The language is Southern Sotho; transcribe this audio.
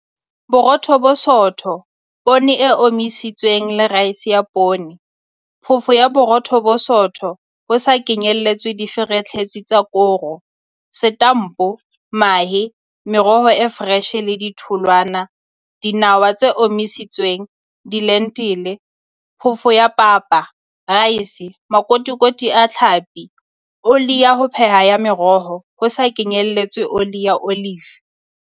Borotho bo bosootho Poone e omisitsweng le raese ya poone Phoofo ya Borotho bo bosootho, ho sa kenyeletswe ditlheferetsi tsa koro, Setampo Mahe Meroho e foreshe le ditholwana Dinawa tse omisitsweng Dilentile Phofo ya papa Raese Makotikoti a tlhapi Oli ya ho pheha ya meroho, ho sa kenyeletswe oli ya olive.